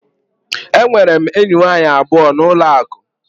Enwere m enyi nwanyị abụọ na ụlọ akụ.